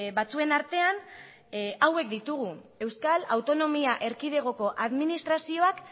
batzuen artean hauek ditugu euskal autonomia erkidegoko administrazioak